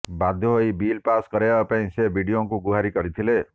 ବାଧ୍ୟ ହୋଇ bill pass କରାଇବା ପାଇଁ ସେ ବିଡିଓଙ୍କୁ ଗୁହାରି କରିଥିଲେ